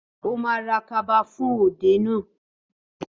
Ó ma ra kaba fún òde náà